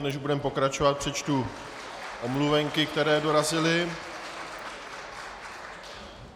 Než budeme pokračovat, přečtu omluvenky, které dorazily.